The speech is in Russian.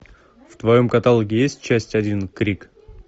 в твоем каталоге есть часть один крик